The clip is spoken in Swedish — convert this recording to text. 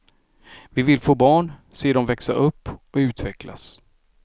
Vi vill få barn, se dem växa upp och utvecklas.